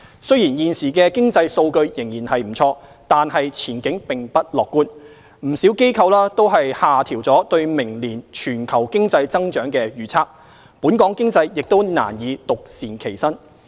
雖然現時的經濟數據仍然不錯，但前景並不樂觀，不少機構均下調對明年全球經濟增長的預測，本港經濟亦難以獨善其身。